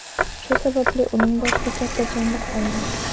Shu sababli uning boshida katta chandiq qolgan.